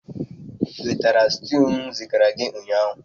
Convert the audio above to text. Ị nwetara stew m zigara ụnyaahụ?